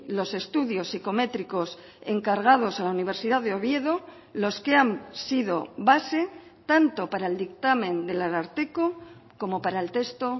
los estudios psicométricos encargados a la universidad de oviedo los que han sido base tanto para el dictamen del ararteko como para el texto